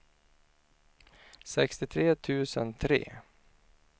sextiotre tusen tre